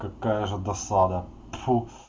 какая же досада тьфу